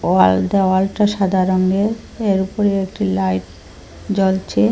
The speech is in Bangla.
ওয়াল দেওয়ালটা সাদা রঙের এর ওপরে একটি লাইট জ্বলছে।